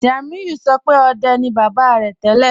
Tiamiyu sọ̀ pẹ̀ ọ̀dẹ̀ ni baba rẹ̀ tẹlẹ́.